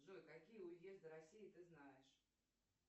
джой какие уезды россии ты знаешь